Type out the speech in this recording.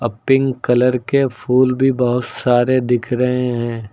अब pink colour के फूल भी बहोत सारे दिख रहे हैं।